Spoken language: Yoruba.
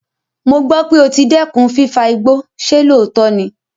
Mo gbọ́ pé o ti dẹ́kun fífa igbó, ṣe lóòótọ́ ni?